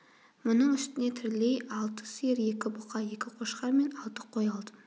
мұның үстіне тірілей алты сиыр екі бұқа екі қошқар мен алты қой алдым